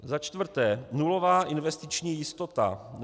Za čtvrté nulová investiční jistota.